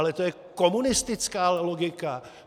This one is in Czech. Ale to je komunistická logika!